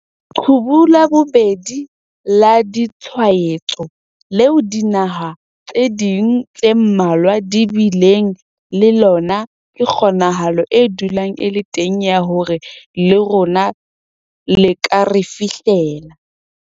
'Leqhubu la bobedi' la ditshwaetso leo dinaha tse ding tse mmalwa di bileng le lona ke kgonahalo e dulang e le teng ya hore le rona le ka re fihlela.